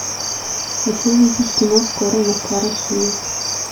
хочу увидеть кино скорый москва россия